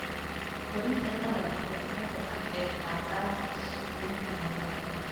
Koriinka dalaggu wuxuu ka qayb qaataa sugnaanta cuntada.